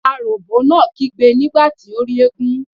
Aròbó náà kígbe nígbà tí ó rí eégún.